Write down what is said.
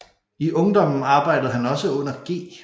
I ungdommen arbejdede han også under G